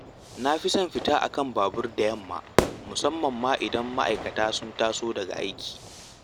Na fi son fita a kan barburina da yamma, musamman ma idan ma’aikata sun taso daga aiki